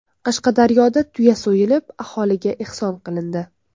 Qashqadaryoda tuya so‘yilib, aholiga ehson qilindi.